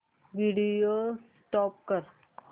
video stop कर